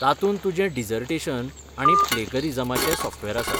तातूंत तुजें डिजर्टेशन आनी प्लॅगरिजमाचें सॉफ्टवॅर आसा.